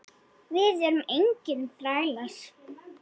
Við erum engir þrælar.